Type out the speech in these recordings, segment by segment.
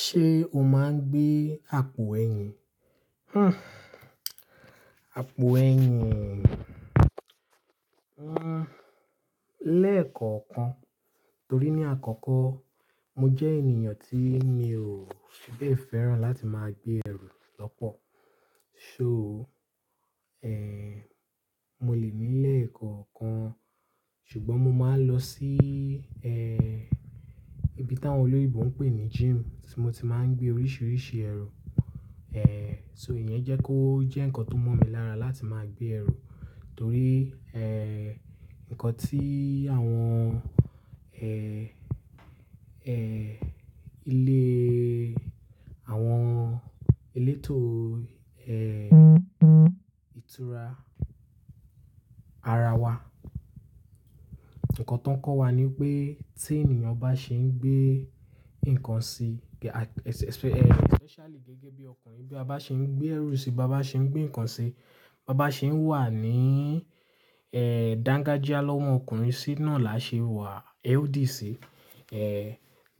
Ṣé o máa ń gbé àpò ẹ̀yìn? Hmm, àpò ẹ̀yìn, hmm, lẹ́ẹ̀koọ̀kan. Torí ní àkọ́kọ́ mo jẹ́ ènìyàn tí mi ò fi bẹ́ẹ̀ fẹ́ràn láti máa gbé ẹrù lọ́pọ̀. So, eh, mo lè ní lẹ́ẹ̀kọ̀okan. Ṣùgbọ́n mo máa ń lọ sí, eh, ibi táwọn olóyinbo ń pè ní gym tí mo ti máa ń gbé oríṣiríṣi ẹrù. Eh, so ìyẹn jẹ́ kó jẹ́ ǹkan tó mọ̀ mi lára láti máa gbé ẹrù. Torí, eh, ǹkan tí àwọn, eh, eh, ilé, àwọn elétò, eh, ìtura ara wa, ǹkan ti woń kọ́ wa ni pé tí ènìyàn bá ṣe ń gbé nǹkan sí, ge-- a, e, especially gẹ́gẹ́ bí ọkùnrin, bí a bá ṣe ń gbé ẹrú sí i, bá ba ṣe ń gbé nǹkan sí i, bá ba ṣe ń wà ní, eh, Dangajia lọ́mọ́ ọkùnrin sì náà la ṣe wà, healthy si. Eh,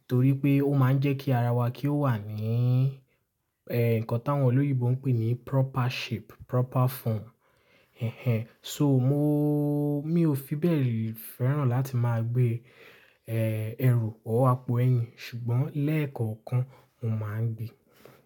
torí pé ó máa ń jẹ́ kí ara wa kí ó wà ní, eh, ǹkan táwọn olóyinbo ń pè ní proper shape, proper form. Ẹ̀hen. So mo-- mi ò fi bẹ́ẹ̀ fẹ́ràn láti máa gbé, eh, ẹrù or àpò ẹ̀yìn. Ṣùgbọ́n lẹ́ẹ̀kọ̀kan mo máa ń gbé.